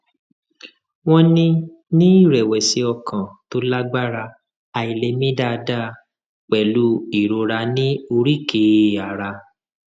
wọn ní ní ìrẹwẹsì ọkàn tó lágbára àìlè mí dáadáa pẹlú ìrora ní oríkèé ara